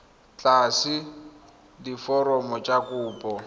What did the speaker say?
o tlatse diforomo tsa kopo